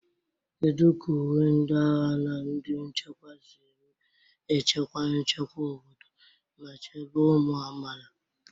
Kedu ka uwe ndị agha na ndị nchekwa si echekwa nchekwa obodo ma chebe ụmụ amaala?